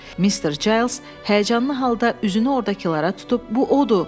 Mister Cales həyəcanlı halda üzünü ordakılara tutub: bu odur!